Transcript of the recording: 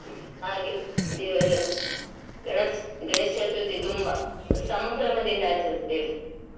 ಹಾಗೆ ದೇವರ ಗಣೇಶ ಗಣೇಶ ಚತುರ್ಥಿ ತುಂಬಾ ಸಂಭ್ರಮದಿಂದ ಆಚರಸ್ತೇವೆ.